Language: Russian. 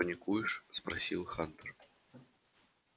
паникуешь спросил хантер